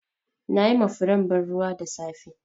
Na yi ma furen ban ruwa da safe.